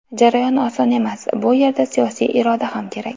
Jarayon oson emas, bu yerda siyosiy iroda ham kerak.